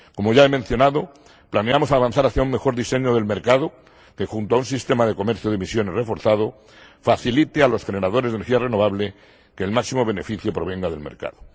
Como ya he mencionado, planeamos avanzar hacia un mejor diseño del mercado, que, junto a un sistema de comercio de emisiones reforzado, facilite a los generadores de energía renovable que el máximo beneficio provenga del mercado.